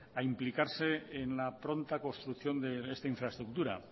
a implicarse en la pronta construcción de esta infraestructura